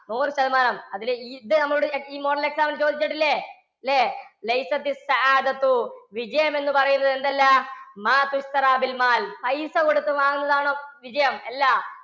നൂറു ശതമാനം അതിലെ ഇത് നമ്മുടെ ഈ model exam ന് ചോദിച്ചിട്ടില്ല? ഇല്ലേ? വിജയം എന്ന് പറയുന്നത് എന്തല്ല? പൈസ കൊടുത്തു വാങ്ങുന്നതാണോ വിജയം? അല്ല